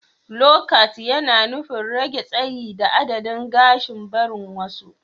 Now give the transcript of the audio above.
lowcat yana nufin rage tsayi da adadin gashin barin wasu.